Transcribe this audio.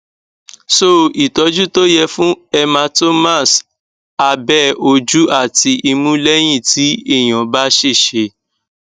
so ìtọjú tó yẹ fún hematomas abe ojú àti imu leyin ti eyan ba sese